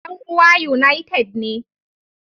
Yan uwa United ne